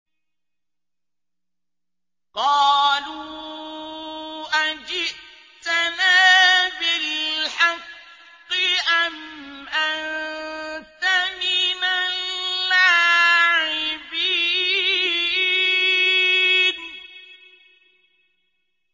قَالُوا أَجِئْتَنَا بِالْحَقِّ أَمْ أَنتَ مِنَ اللَّاعِبِينَ